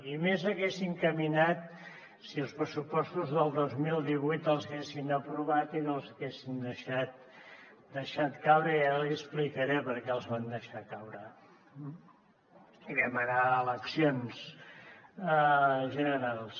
i més haguéssim caminat si els pressupostos del dos mil divuit els haguessin aprovat i no els haguessin deixat caure i ara li explicaré per què els van deixar caure i vam anar a eleccions generals